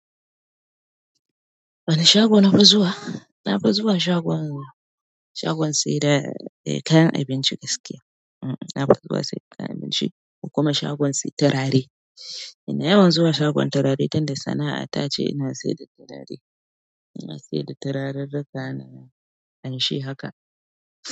Wani shago nafi zuwa? Nafi zuwa shagon saida kayan abinci gaskiya u'un, nafi zuwa sayan kayan abinci da kuma shagon sayen turare. Ina yawan zuwa shagon turare tunda sana'a ta ce ina sayar da turare. Ina sayar da turarrrruka na ƙamshi haka.